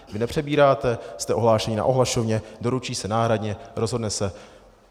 Vy nepřebíráte, jste ohlášeni na ohlašovně, doručí se náhradně, rozhodne se.